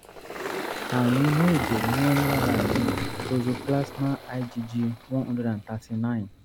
àrùn inú ẹ̀jẹ̀ ni wọ́n rí lára mi toxoplasma igg one hundred and thirty-nine